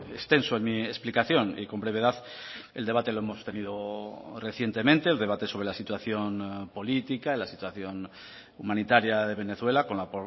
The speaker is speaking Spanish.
extenso en mi explicación y con brevedad el debate lo hemos tenido recientemente el debate sobre la situación política la situación humanitaria de venezuela con la